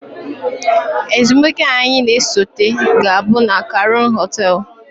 Ezumike anyị na-esote ga-abụ na kraun hotels